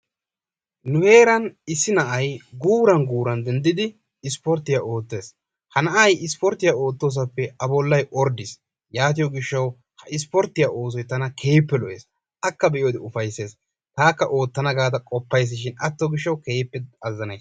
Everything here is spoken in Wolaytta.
nu heeran issi na'ay guuran guuran denddidi ispporttiya ootees, ha na'ay ispportiya ootoosappe a bolay ordiis, yaatiyo gishawu ha isporttiya oosoy tana keehippe lo'ees, taakka ootana gaada qopayshin atto gishawu keehippe azzanays.